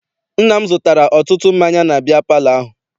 Nna m zụtara ọtụtụ mmanya na biya palọ ahụ.